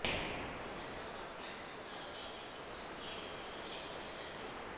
ଏହା ସହ ଝାଡୁ ତଥା ଅନ୍ୟାନ୍ୟ ଜିନିଷ ତିଆରି କରିବାରେ ଏମାନେ ମାହିର